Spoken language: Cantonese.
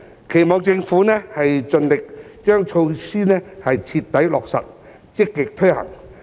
期望政府盡力徹底落實措施，積極推行。